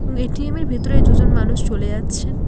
ATM -এর ভেতরে দুজন মানুষ চলে যাচ্ছেন।